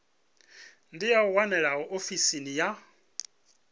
dzi a wanalea ofisini ya